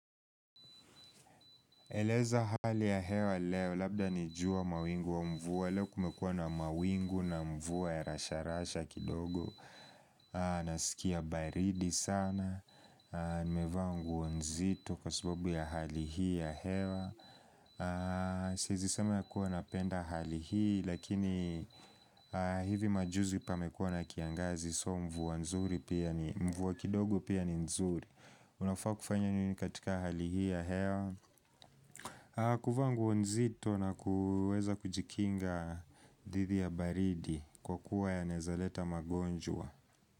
Eleza hali ya hewa leo, labda ni jua mawingu au mvua, leo kumekuwa na mawingu na mvua ya rasha rasha kidogo Nasikia baridi sana, nimevaa nguo nzito kwa sababu ya hali hii ya hewa Siwezi sema ya kuwa napenda hali hii, lakini hivi majuzi pamekuwa na kiangazi so mvua kidogo pia ni nzuri unafaa kufanya nini katika hali hii ya hewa kuvaa nguo nzito na kuweza kujikinga dhidi ya baridi kwa kuwa yanaezaleta magonjwa.